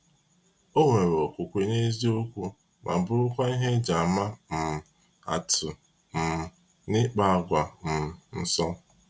Ọ nwere okwukwe n’eziokwu ma bụrụkwa ihe eji ama um atụ um n’ịkpa àgwà um nsọ.